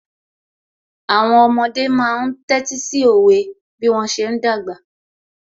Àwọn ọmọdé máa ń tẹ́tí sí òwe bí wọ́n ṣe ń dàgbà